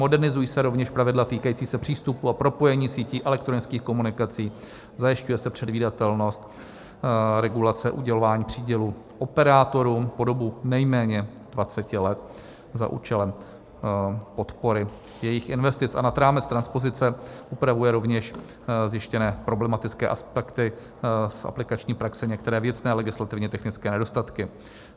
Modernizují se rovněž pravidla týkající se přístupu a propojení sítí elektronických komunikací, zajišťuje se předvídatelnost regulace udělování přídělu operátorům po dobu nejméně 20 let za účelem podpory jejich investic a nad rámec transpozice upravuje rovněž zjištěné problematické aspekty z aplikační praxe některé věcné legislativně technické nedostatky.